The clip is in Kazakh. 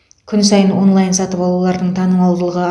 күн сайын онлайн сатып алулардың танымалдығы